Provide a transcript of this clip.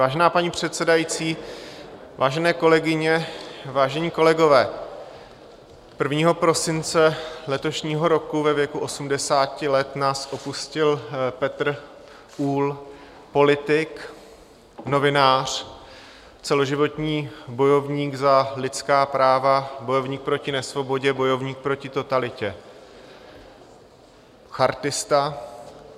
Vážená paní předsedající, vážené kolegyně, vážení kolegové, 1. prosince letošního roku ve věku 80 let nás opustil Petr Uhl, politik, novinář, celoživotní bojovník za lidská práva, bojovník proti nesvobodě, bojovník proti totalitě, chartista.